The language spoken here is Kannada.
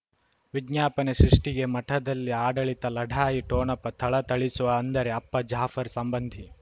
ವಿಜ್ಞಾಪನೆ ಸೃಷ್ಟಿಗೆ ಮಠದಲ್ಲಿ ಆಡಳಿತ ಲಢಾಯಿ ಠೊಣಪ ಥಳಥಳಿಸುವ ಅಂದರೆ ಅಪ್ಪ ಜಾಫರ್ ಸಂಬಂಧಿ